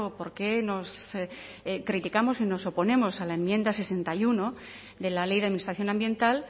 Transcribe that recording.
por qué nos criticamos y nos oponemos a la enmienda sesenta y uno de la ley de administración ambiental